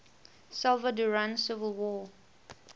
salvadoran civil war